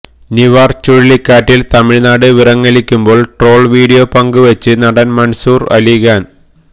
നിവാര് ചുഴലിക്കാറ്റില് തമിഴ്നാട് വിറങ്ങലിക്കുമ്പോള് troll video പങ്കുവെച്ച് നടന് മന്സൂര് അലിഖാന്